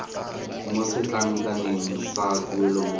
mo setlankaneng sa tuelo mo